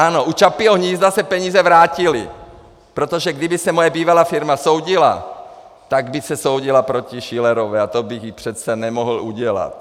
Ano, u Čapího hnízda se peníze vrátily, protože kdyby se moje bývalá firma soudila, tak by se soudila proti Schillerové a to bych jí přece nemohl udělat.